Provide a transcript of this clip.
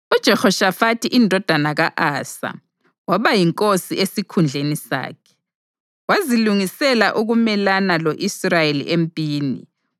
UJehoshafathi indodana ka-Asa waba yinkosi esikhundleni sakhe; wazilungisela ukumelana lo-Israyeli empini.